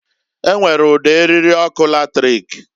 E nwere udo (eriri) ọkụ latrik.